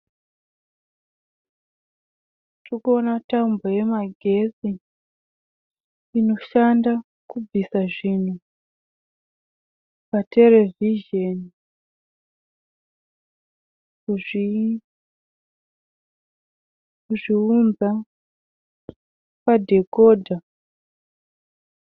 Tiri kuona tambo yemagetsi inoshanda kubvisa zvinhu paterevhizheni kuzviunza padhekodha.